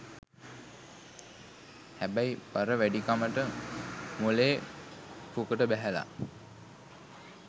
හැබැයි බර වැඩිකමට මොලේ පුකට බැහැලා